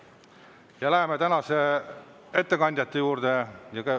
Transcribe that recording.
Ja läheme tänaste ettekandjate juurde.